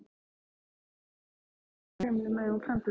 Hann stóð teinréttur og horfði grimmum augum fram fyrir sig.